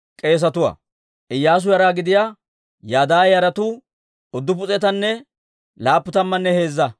Asaafa yara gidiyaa mazimuriyaa yes's'iyaawanttu 128;